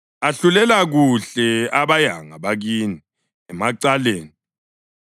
Ahlulela kuhle abayanga bakini emacaleni.